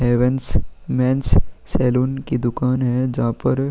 Heavens men's saloon की दुकान है जहाँ पर --